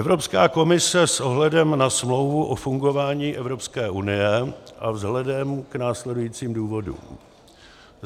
Evropská komise s ohledem na Smlouvu o fungování Evropské unie a vzhledem k následujícím důvodům: